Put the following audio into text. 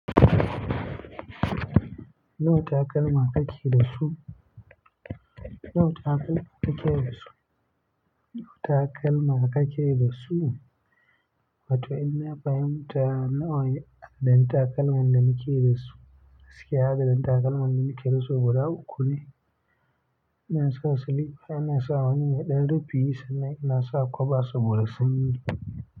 Nawa takalman ka ke da su? Nawa takalman ka ke da su? Nawa takalman ka ke da su? Wato in na fahimta nawa ɗan takalman da ni ke da su. Gaskiya adadin takalman da ni ke da su guda uku ne. In na sa silifa, ina sa wani mai ɗan rufi yi sannan ina sa kwaɓa saboda sani.